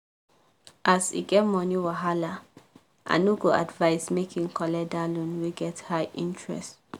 as e get money wahala i no go advise make e go collect that loan wey get high interest.